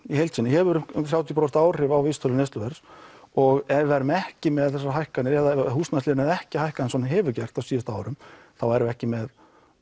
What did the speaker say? í heild sinni hefur um þrjátíu prósent áhrif á vísitölu neysluverðs og ef við værum ekki með þessar hækkanir ef húsnæðisliðurinn hefði ekki hækkað eins og hann hefur gert á síðustu árum þá værum við ekki með